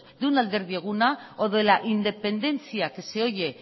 de un alderdi eguna o de la independetzia que se oye